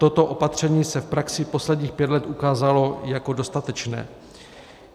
Toto opatření se v praxi posledních pět let ukázalo jako dostatečné.